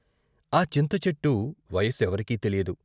ఆ చింతచెట్టు వయస్సెవరికి తెలియదు.